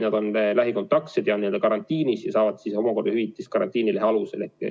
Nad on lähikontaktsed ja karantiinis olles saavad hüvitist karantiinilehe alusel.